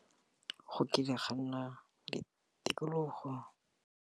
Go kile ga nna le tikologo.